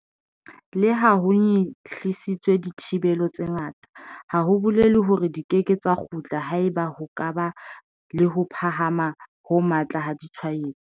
Leha ho nyehlisitswe dithibelo tse ngata, ha ho bolele hore di keke tsa kgutla haeba ho ka ba le ho phahama ho matla ha ditshwaetso.